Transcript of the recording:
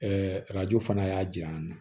arajo fana y'a diyan na